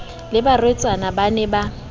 le barwetsana ban e ba